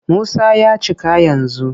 Musa ya cika yanzu.